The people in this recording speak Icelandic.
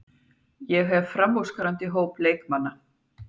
Ég hef framúrskarandi hóp leikmanna.